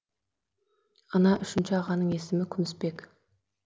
ана үшінші ағаның есімі күмісбек